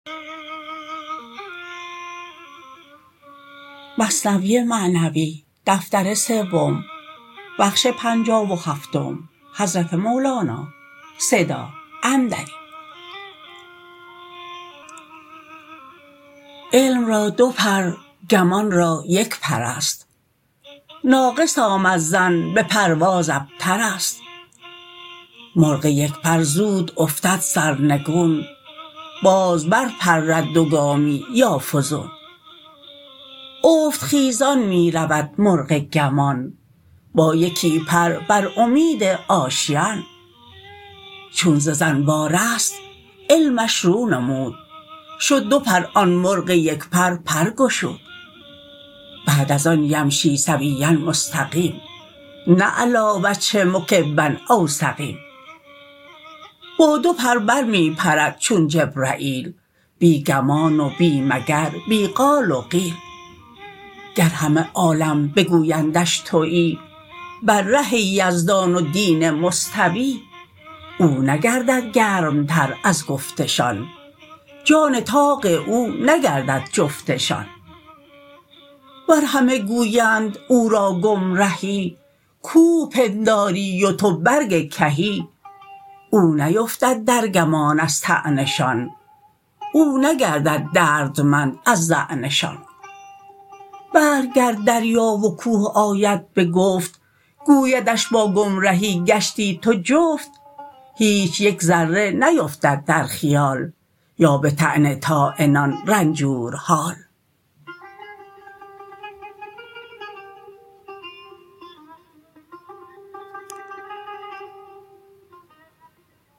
علم را دو پر گمان را یک پرست ناقص آمد ظن به پرواز ابترست مرغ یک پر زود افتد سرنگون باز بر پرد دو گامی یا فزون افت خیزان می رود مرغ گمان با یکی پر بر امید آشیان چون ز ظن وا رست علمش رو نمود شد دو پر آن مرغ یک پر پر گشود بعد از آن یمشی سویا مستقیم نه علی وجهه مکبا او سقیم با دو پر بر می پرد چون جبرییل بی گمان و بی مگر بی قال و قیل گر همه عالم بگویندش توی بر ره یزدان و دین مستوی او نگردد گرم تر از گفتشان جان طاق او نگردد جفتشان ور همه گویند او را گم رهی کوه پنداری و تو برگ کهی او نیفتد در گمان از طعنشان او نگردد دردمند از ظعنشان بلک گر دریا و کوه آید به گفت گویدش با گم رهی گشتی تو جفت هیچ یک ذره نیفتد در خیال یا به طعن طاعنان رنجورحال